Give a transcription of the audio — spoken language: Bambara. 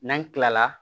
N'an kila la